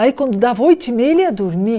Aí quando dava oito e meia ele ia dormir.